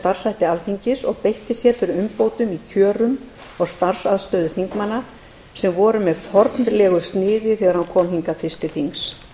starfshætti alþingis og beitti sér fyrir umbótum í kjaramálum og starfsaðstöðu alþingismanna sem voru með fornlegu sniði þegar hann kom hingað fyrst til þings